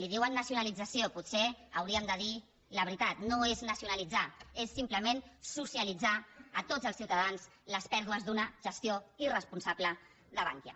en diuen nacionalització potser hauríem de dir la veritat no és nacionalitzar és simplement socialitzar a tots els ciutadans les pèrdues d’una gestió irresponsable de bankia